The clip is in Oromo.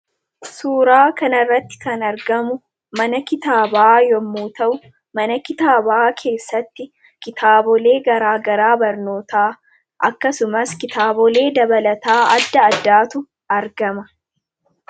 Suuraa kanarratti kan argamu mana kitaabaa yommuu ta'u, mana kitaabaa keessatti kitaabilee garaagaraa barnootaa akkasumas kitaabolee dabalataa adda addaatu argama.